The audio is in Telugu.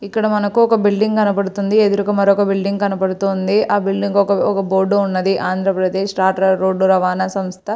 ఇక్కడ మనకు ఒక బిల్డింగ్ కనబడుతుంది. ఎదురుగా మరొక బిల్డింగ్ కనబడుతుంది. ఆ బిల్డింగ్ ఒక ఒక బోర్డు ఉన్నదీ. ఆంధ్రప్రదేశ్ రాష్ట్ర రోడ్డు రవాణా సంస్థ.